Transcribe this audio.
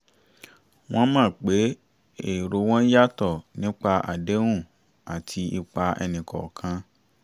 wọ́n mọ̀ pé èrò wọn yàtọ̀ nípa àdéhùn àti ipa ẹni kọọkan